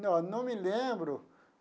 Não, não me lembro.